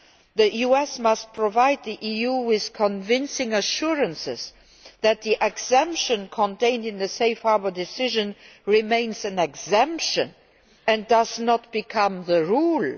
The US must provide the EU with convincing assurances that the exemption contained in the Safe Harbour decision remains an exemption and does not become the rule.